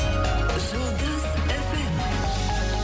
жұлдыз эф эм